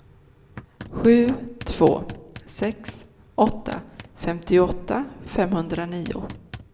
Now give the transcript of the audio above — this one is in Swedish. sju två sex åtta femtioåtta femhundranio